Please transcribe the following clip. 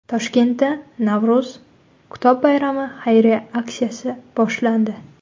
Toshkentda Navro‘z kitob bayrami xayriya aksiyasi boshlandi.